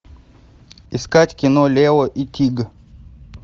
искать кино лео и тиг